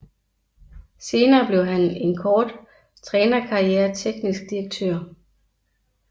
Senere blev han efter en kort trænerkarriere teknisk direktør